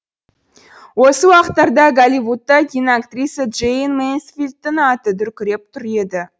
осы уақыттарда голливудта киноактриса джейн менсфилдтің аты дүркіреп тұр еді